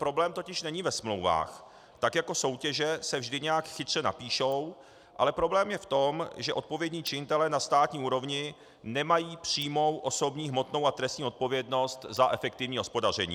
Problém totiž není ve smlouvách, tak jako soutěže se vždy nějak chytře napíšou, ale problém je v tom, že odpovědní činitelé na státní úrovni nemají přímou osobní hmotnou a trestní odpovědnost a efektivní hospodaření.